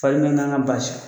Fari nana an ŋa bas